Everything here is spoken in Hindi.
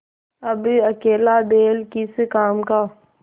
अब अकेला बैल किस काम का